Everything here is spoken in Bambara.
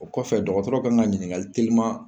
O kɔfɛ dɔgɔtɔrɔ kan ka ɲininkali teliman